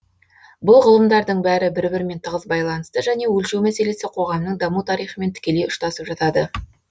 бұл ғылымдардың бәрі бір бірімен тығыз байланысты және өлшеу мәселесі коғамның даму тарихымен тікелей ұштасып жатады